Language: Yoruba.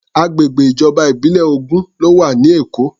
Agbègbè ìjọba ìbílẹ̀ ogún ló wà ní Èkó.